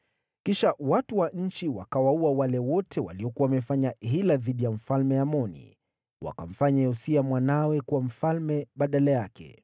Kisha watu wa nchi wakawaua wale wote waliokuwa wamefanya hila dhidi ya Mfalme Amoni. Wakamfanya Yosia mwanawe kuwa mfalme mahali pake.